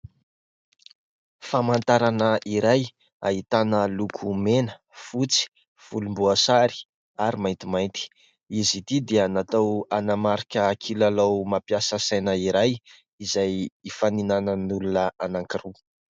Famantarana iray ahitana loko mena, fotsy, volomboasary ary maintimainty, izy ity dia natao hanamarika kilalao mampiasa saina iray izay hifaninanan'olona anankiroa.